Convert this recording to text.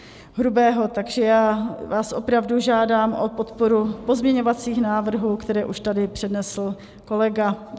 Takže já vás opravdu žádám o podporu pozměňovacích návrhů, které už tady přednesl kolega.